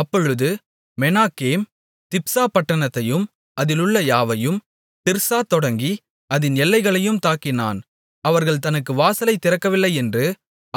அப்பொழுது மெனாகேம் திப்சா பட்டணத்தையும் அதிலுள்ள யாவையும் திர்சா தொடங்கி அதின் எல்லைகளையும் தாக்கினான் அவர்கள் தனக்கு வாசலைத் திறக்கவில்லையென்று